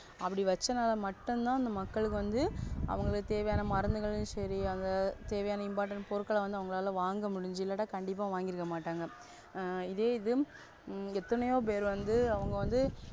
அப்டி வெச்சானல மட்டுதா அந்த மக்களுக்கு வந்து அவங்களுக்கு தேவையான மருந்துங்களு சேரி அந்த தேவையான Important பொருட்கள்ள வந்து வாங்க முடிஞ்சி இல்லேட கண்டிப்பா வாங்கி இருக்கமாட்டாங்க, அஹ் இதே எத்தனையோபேரு வந்து அவங்க வந்து,